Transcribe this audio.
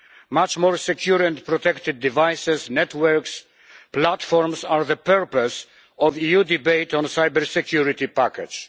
Much more secure and protected devices, networks, platforms are the purpose of EU debate on cybersecurity package.